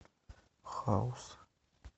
хаус